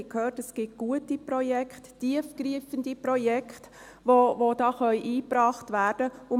Wir haben gehört, dass es gute Projekte gibt, tiefgreifende Projekte, die hier eingebracht werden können.